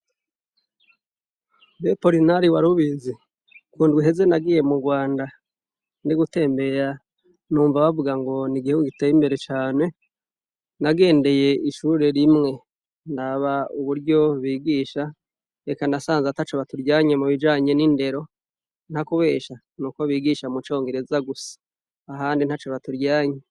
Mbe Porinari warubizi! kundw'iheze nagiye mu rwanda, ndi gutembera numva bavuga ngo n' igihugu giteye imbere cane ,nagendeye ishure rimwe ndaba uburyo bigisha ,reka nasanze ataco baturyanye mu bijanye n'indero ,nta kubesha nuko bigisha mu congereza gusa ,ahandi ntaco, baturyanye.